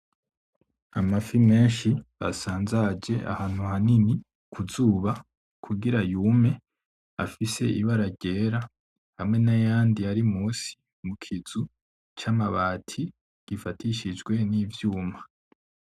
Amafi menshi asanzaje ahantu hanini kuzuba kugira yume afise ibara ryera hamwe nayandi ari munsi mu kizu c'amabati gifatishijwe nivyuma.